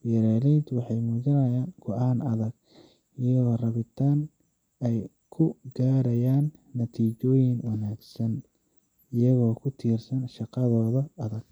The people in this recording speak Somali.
Beeraleyda waxay muujinayaan go'aan adag iyo rabitaan ay ku gaadhaayan natiijooyin wanaagsan, iyagoo ku tiirsan shaqadooda adag.